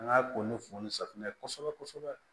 An ka ko ni fo ni safunɛ kosɛbɛ kosɛbɛ